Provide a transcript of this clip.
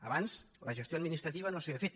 abans la gestió administrativa no s’havia fet